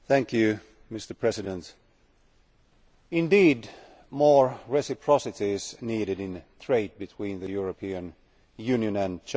Mr President, indeed more reciprocity is needed in trade between the European Union and China.